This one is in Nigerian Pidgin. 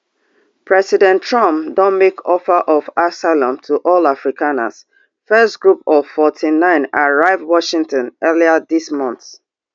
president trump don make offer of asylum to all afrikaners first group of forty-nine arrive washington earlier dis month